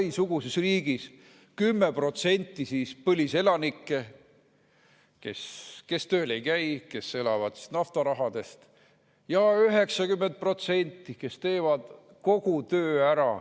Dubai-suguses riigis on 10% põliselanikke, kes tööl ei käi, kes elavad naftarahast, ja 90% teevad kogu töö ära.